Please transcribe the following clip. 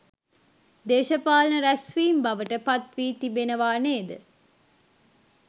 දේශපාලන රැස්වීම් බවට පත්වී තිබෙනවා නේද?